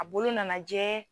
A bolo nanajɛ.